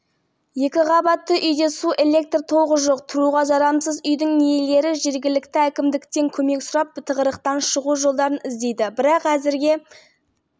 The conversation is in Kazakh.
шаһардағы энергоорталыққа табиғи газ жеткізіліп қазандықтар іске қосылған алдымен әлеуметтік нысандарға содан соң көп қабатты тұрғын үйлерге беріле бастайды